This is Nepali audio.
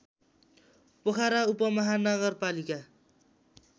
पोखरा उपमहानगरपालिका